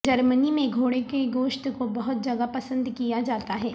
جرمنی میں گھوڑے کے گوشت کو بہت جگہ پسند کیا جاتا ہے